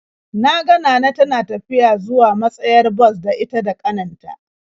Na ga Nana tana tafiya zuwa matsayar bas da ita da ƙanin ta.